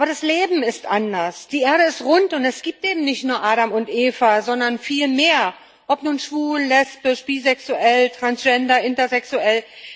Aber das Leben ist anders Die Erde ist rund, und es gibt eben nicht nur Adam und Eva, sondern viel mehr ob nun schwul, lesbisch, bisexuell, Transgender oder intersexuell.